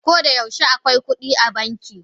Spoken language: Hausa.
Koda yaushe akwai kudi a banki.